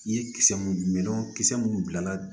Yiri kisɛ mun nɔnɔ kisɛ minnu bilala